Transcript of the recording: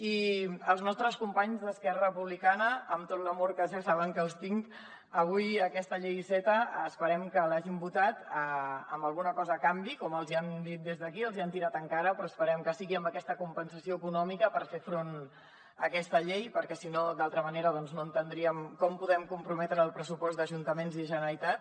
i als nostres companys d’esquerra republicana amb tot l’amor que ja saben que els tinc avui aquesta llei iceta esperem que l’hagin votat amb alguna cosa a canvi com els hi han dit des d’aquí els hi han tirat en cara però esperem que sigui amb aquesta compensació econòmica per fer front a aquesta llei perquè si no d’altra manera doncs no entendríem com podem comprometre el pressupost d’ajuntaments i generalitat